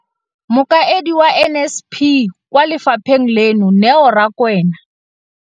Mokaedi wa NSNP kwa lefapheng leno, Neo Rakwena,